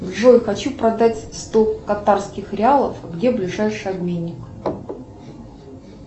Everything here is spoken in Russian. джой хочу продать сто катарских реалов где ближайший обменник